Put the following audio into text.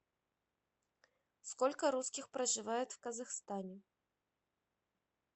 сколько русских проживает в казахстане